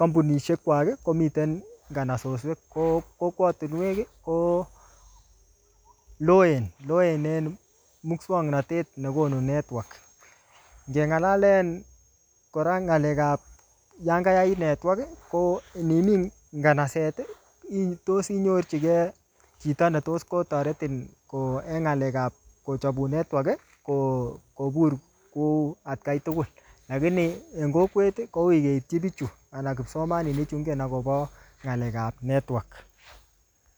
kampunishek kwak komiten nganasoswek. Ko kokwotunwek ko loen. Loen en muswaknatet ne konu network. Ngelalen kora ngalek ap yankayait network, ko inimin nganaset, ii tos inyorchikri chito ne tos kotoretin ko eng ngalek pa kochopun network ko kobur kuu atakain tugul. Lakini, en kokwet, ko uui keitchin bichu anan kipsomaninik chu ingen akobo ngalek ap network.